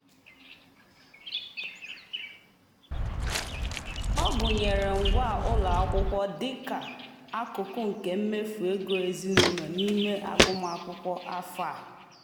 ọ gụnyere ngwa ụlọakwụkwọ dị ka akụkụ nke mmefu ego ezinụụlọ n'ime agụmakwụkwọ afọ a.